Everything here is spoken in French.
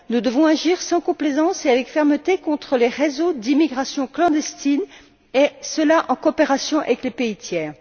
Nous devons agir sans complaisance et avec fermeté contre les réseaux d'immigration clandestine, et cela en coopération avec les pays tiers.